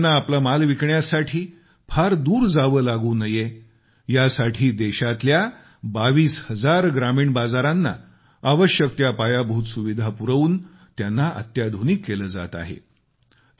शेतकऱ्यांना आपला माल विकण्यासाठी फार दूर जावे लागू नये यासाठी देशातल्या 22 हजार ग्रामीण बाजारांना आवश्यक त्या पायाभूत सुविधा पुरवून त्यांना अत्याधुनिक केले जात आहे